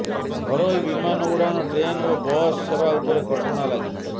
ଘରୋଇ ବିମାନ ଉଡାଣ ଟ୍ରେନ୍ ଏବଂ ବସ ସେବା ଉପରେ କଟକଣା ଲାଗିଛି